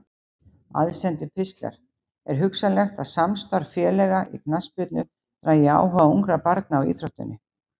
Aðsendir pistlar Er hugsanlegt að samstarf félaga í knattspyrnu dragi áhuga ungra barna á íþróttinni?